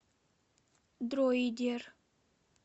дроидер